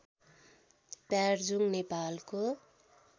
प्यार्जुङ नेपालको